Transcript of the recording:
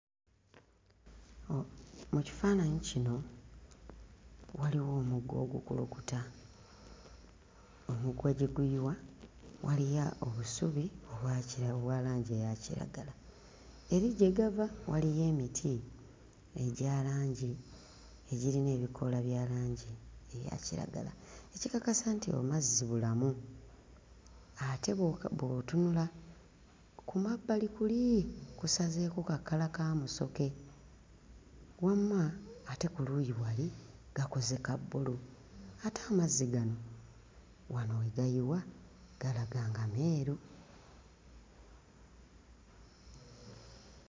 Oh mu kifaananyi kino waliwo omugga ogukulukuta omuggwa gye guyiwa waliya obusubi obwa kira obwa langi eya kiragala. Eri gye gava waliyo emiti egya langi ezirimu ebikoola bya langi eya kiragala ekikakasa nti oh mazzi bulamu ate b'oka bw'otunula ku mabbali kuli kusazeeko ka kkala ka musoke wamma ate ku luuyi wali gakoze ka bbulu ate amazzi gano wano we gayiwa galaga nga meeru.